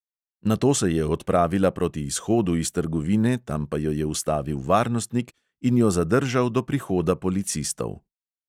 Nato se je odpravila proti izhodu iz trgovine, tam pa jo je ustavil varnostnik in jo zadržal do prihoda policistov.